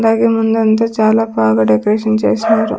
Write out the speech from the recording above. అలాగే ముందంతా చాలా బాగా డెకరేషన్ చేస్నారు.